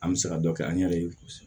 An bɛ se ka dɔ kɛ an yɛrɛ ye kosɛbɛ